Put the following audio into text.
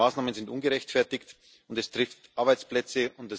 Die Maßnahmen sind ungerechtfertigt, und es trifft Arbeitsplätze.